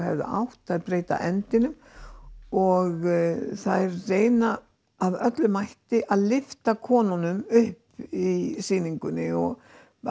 hefðu átt þær breyta endinum og þær reyna af öllum mætt að lyfta konunum upp í sýningunni og